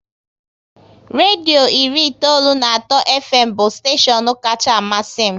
Redio iri itoolu na atọ Fm bụ steshion kacha amasị m